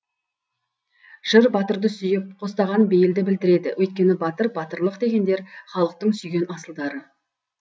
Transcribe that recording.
жыр батырды сүйіп қостаған бейілді білдіреді өйткені батыр батырлық дегендер халықтың сүйген асылдары